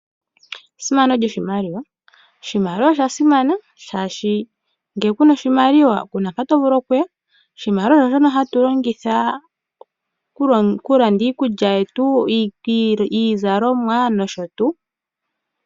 Esimano lyomaliwa. Oshimaliwa osha simana oshoka ngele kuna oshimaliwa kuna mpa tovulu okuya. Oshimaliwa osho shono hatu longitha okulanda iikulya yetu, iizalomwa nosho tuu.